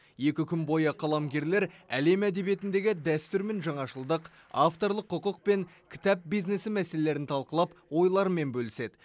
екі күн бойы қаламгерлер әлем әдебиетіндегі дәстүр мен жаңашылдық авторлық құқық пен кітап бизнесі мәселелерін талқылап ойларымен бөліседі